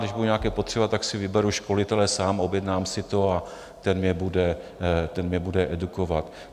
Když budu nějaké potřebovat, tak si vyberu školitele sám, objednám si to a ten mě bude edukovat.